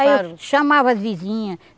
Aí eu chamava as vizinhas.